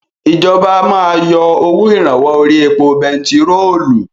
Ìjọba máa yọ owó ìrànwọ́ orí epo bentiróòlù.